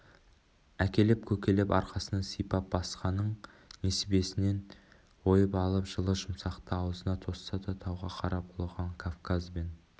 әкелеп-көкелеп арқасынан сыйпап басқаның несібесінен ойып алып жылы-жұмсақты аузына тосса да тауға қарап ұлыған кавказ бен